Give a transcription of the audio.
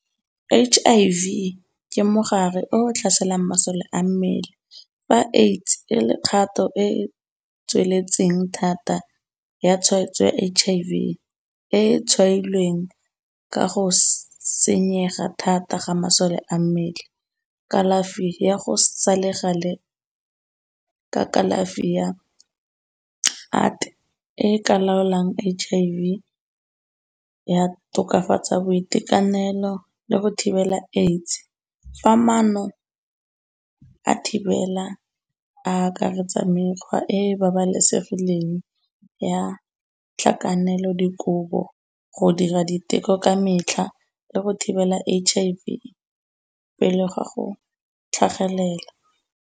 H_I_V ke mogare o tlhaselang masole a mmele, fa AIDS e le kgato e e tsweletseng thata ya tshwaetso ya H_I_V, e e tshwaelweng ka go senyega thata ga masole a mmele. Kalafi ya go sa le gale, ka kalafi ya, , e ka laolang H_I_V, ya tokafatsa boitekanelo le go thibela AIDS. Fa maano a thibela a akaretsa mekgwa e babalesegileng ya tlhakanelodikobo, go dira diteko ka metlha le go thibela H_I_V, pele ga go tlhagelela.